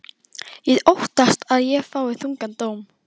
Ég óttast að ég fái þungan dóm.